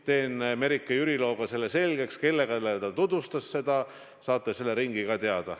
Teen Merike Jüriloga selgeks, kellele ta tutvustas seda, saate selle ringi ka teada.